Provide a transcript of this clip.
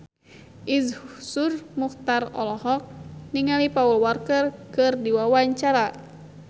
Iszur Muchtar olohok ningali Paul Walker keur diwawancara